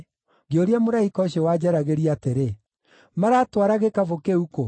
Ngĩũria mũraika ũcio wanjaragĩria atĩrĩ, “Maratwara gĩkabũ kĩu kũ?”